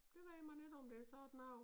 Det ved man ikke om det sådan noget